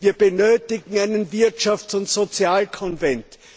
Wir benötigen einen Wirtschafts und Sozialkonvent.